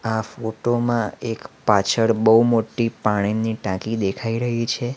આ ફોટોમાં એક પાછળ બહુ મોટી પાણીની ટાંકી દેખાઈ રહી છે.